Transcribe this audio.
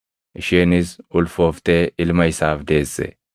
isheenis ulfooftee ilma isaaf deesse.